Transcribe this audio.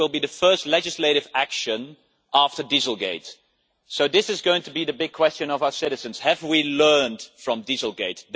This will be the first legislative action after Dieselgate, so this is going to be the big question of our citizens have we learned from Dieselgate?